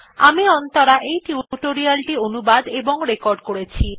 আমি অন্তরা এই টিউটোরিয়াল টি অনুবাদ এবং রেকর্ড করেছি